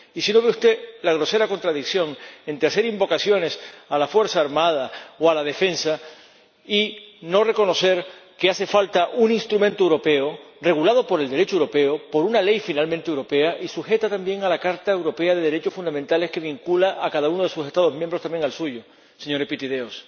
Y si no ve usted la grosera contradicción entre hacer invocaciones a la fuerza armada o a la defensa y no reconocer que hace falta un instrumento europeo regulado por el Derecho europeo, por una ley finalmente europea y sujeta también a la Carta de los Derechos Fundamentales de la Unión Europea, que vincula a cada uno de sus Estados miembros ―también al suyo, señor Epitideios―.